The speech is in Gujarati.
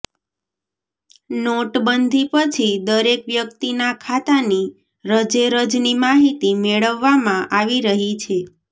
નોટબંધી પછી દરેક વ્યક્તિનાં ખાતાની રજેરજની માહિતી મેળવવામાં આવી રહી છે